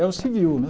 É o civil, né?